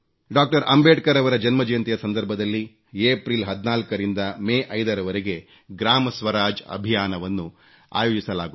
ಅಂಬೇಡ್ಕರ್ ರವರ ಜನ್ಮ ಜಯಂತಿಯ ಸಂದರ್ಭದಲ್ಲಿ ಏಪ್ರಿಲ್ 14 ರಿಂದ ಮೇ 5 ರವರೆಗೆ ಗ್ರಾಮಸ್ವರಾಜ್ ಅಭಿಯಾನ ವನ್ನು ಆಯೋಜಿಸಲಾಗುತ್ತಿದೆ